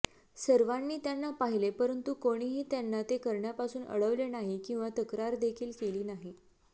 सर्वांनी त्यांना पाहिले परंतु कोणीही त्यांना ते करण्यापासून अडवले नाही किंवा तक्रारदेखील केली नाही